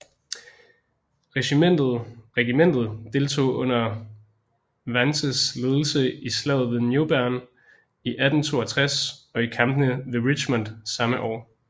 Regimentet deltog under Vances ledelse i Slaget ved New Bern i 1862 og i kampene ved Richmond samme år